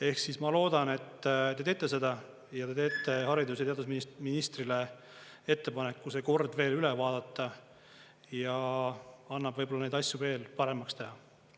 Ehk siis ma loodan, et te teete seda ja te teete haridus‑ ja teadusministrile ettepaneku see kord veel üle vaadata ja annab võib-olla neid asju veel paremaks teha.